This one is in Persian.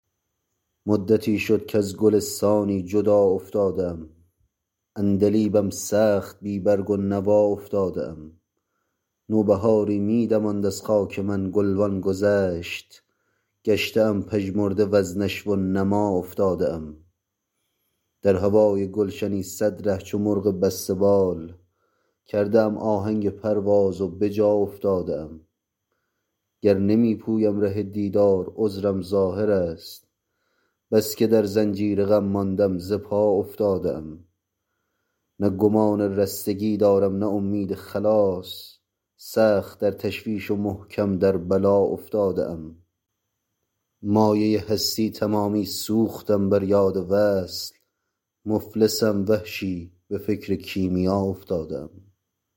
مدتی شد کز گلستانی جدا افتاده ام عندلیبم سخت بی برگ و نوا افتاده ام نوبهاری می دماند از خاک من گل وان گذشت گشته ام پژمرده و ز نشو و نما افتاده ام در هوای گلشنی سد ره چو مرغ بسته بال کرده ام آهنگ پرواز و بجا افتاده ام گر نمی پویم ره دیدار عذرم ظاهر است بسکه در زنجیر غم ماندم ز پا افتاده ام نه گمان رستگی دارم نه امید خلاص سخت در تشویش و محکم در بلا افتاده ام مایه هستی تمامی سوختم بر یاد وصل مفلسم وحشی به فکر کیمیا افتاده ام